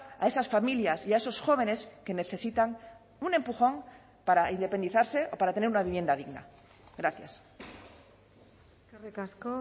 a esas familias y a esos jóvenes que necesitan un empujón para independizarse o para tener una vivienda digna gracias eskerrik asko